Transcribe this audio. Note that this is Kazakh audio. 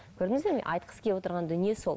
көрдіңіздер ме айтқысы келіп отырған дүние сол